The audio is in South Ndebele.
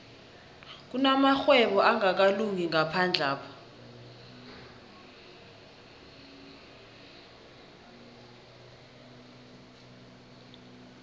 kunamarhwebo angakalungi ngaphandlapha